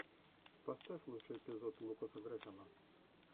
поставь лучший эпизод лукаса грэхэма